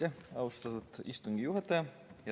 Aitäh, austatud istungi juhataja!